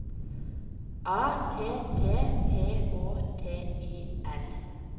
A T T P Å T I L